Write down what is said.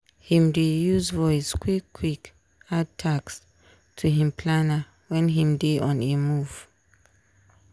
him dey use voice quick quick add task to him planner wen him dey on a move.